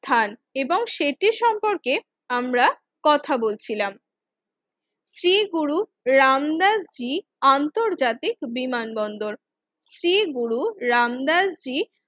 থর এবং সেটি সম্পর্কে আমরা কথা বলছিলাম শ্রী গুরু রামনাথ জি আন্তর্জাতিক বিমানবন্দর শ্রীগুরু রামনাথ জি